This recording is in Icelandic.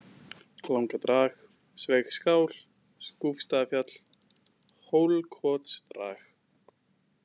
Langadrag, Sveigsskál, Skúfsstaðafjall, Hólkotsdrag